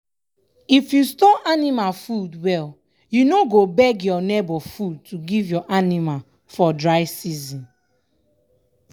if you store anima food well you no go beg your neighbour food to give your anima for dry season.